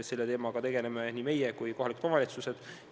Selle teemaga tegeleme meie ja tegelevad ka kohalikud omavalitsused.